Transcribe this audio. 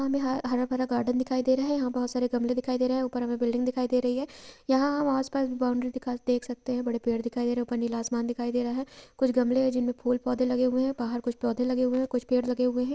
हमें ह-हरा भरा गार्डन दिखाई दे रहा है| यहाँ बहुत सारे गमले दिखाई दे रहे हैं| ऊपर हमें बिल्डिंग दिखाई दे रही है यहाँ हम आस-पास भी बाउंड्री दिखाई देख सकते हैं| बड़े पेड़ दिखाई दे रहे हैं| ऊपर नीला आसमान दिखाई दे रहा है कुछ गमले हैं जिनमें फूल-पौधे लगे हुए हैं बाहर कुछ पौधे लगे हुए हैं कुछ पेड़ लगे हुए हैं।